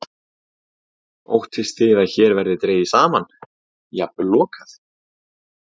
Kristján Már Unnarsson: Óttist þið að hér verði dregið saman, jafnvel lokað?